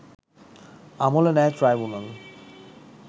আমলে নেয় ট্রাইব্যুনাল